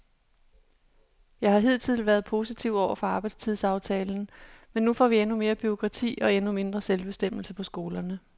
Jeg har hidtil været positiv over for arbejdstidsaftalen, men nu får vi endnu mere bureaukrati og endnu mindre selvbestemmelse på skolerne.